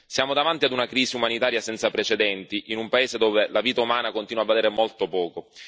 Siamo davanti ad una crisi umanitaria senza precedenti in un paese dove la vita umana continua a valere molto poco.